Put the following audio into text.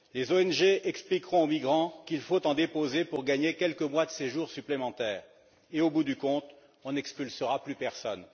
les ONG expliqueront aux migrants qu'il faut en déposer pour gagner quelques mois de séjour supplémentaires et au bout du compte, on n'expulsera plus personne.